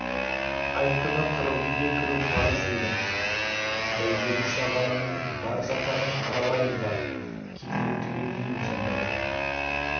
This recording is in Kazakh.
айт күні қырық үйге кіру парыз деген бәйгелі-шағаланың бар жатағын аралайын бар кедейін түгендейін сонда бір